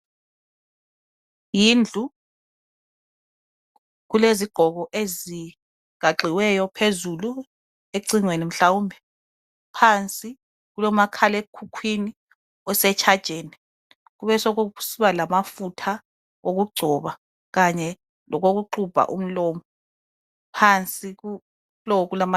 Yindlu kulezigqoko ezigaxiweyo phezulu ecingweni hlawumbe phansi kulomakhalemkhukhwini osetshajeni kube sekusiba lamafutha okungcoba kanye lokuxubha umlomo phansi.